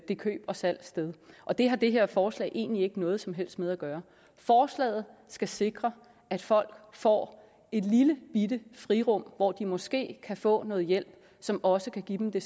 det køb og salg sted og det har det her forslag egentlig ikke noget som helst med at gøre forslaget skal sikre at folk får et lille bitte frirum hvor de måske kan få noget hjælp som også kan give dem det